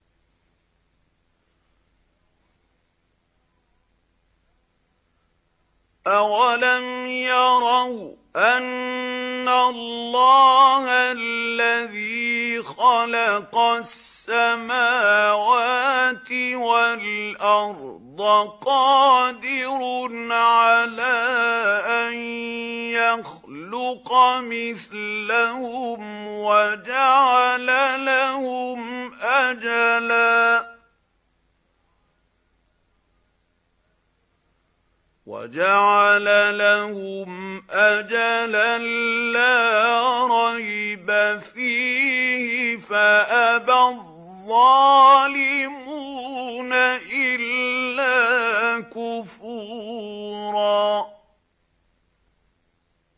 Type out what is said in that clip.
۞ أَوَلَمْ يَرَوْا أَنَّ اللَّهَ الَّذِي خَلَقَ السَّمَاوَاتِ وَالْأَرْضَ قَادِرٌ عَلَىٰ أَن يَخْلُقَ مِثْلَهُمْ وَجَعَلَ لَهُمْ أَجَلًا لَّا رَيْبَ فِيهِ فَأَبَى الظَّالِمُونَ إِلَّا كُفُورًا